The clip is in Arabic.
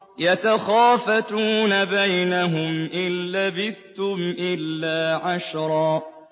يَتَخَافَتُونَ بَيْنَهُمْ إِن لَّبِثْتُمْ إِلَّا عَشْرًا